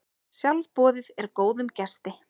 Sjálfboðið er góðum gesti.